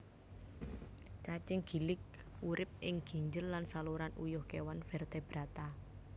Cacing gilik urip ing ginjel lan saluran uyuh kéwan vertebrata